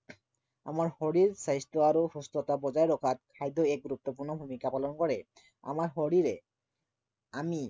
আমাৰ শৰীৰ স্বাস্থ্য় আৰু সুস্থতা বজাই ৰখাত খাদ্য়ই এক গুৰুত্বপূৰ্ণ ভূমিকা পালন কৰে। আমাৰ শৰীৰে আমি